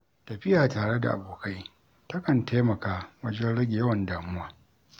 Tafiya tare da abokai, takan taimaka wajen rage yawan damuwa.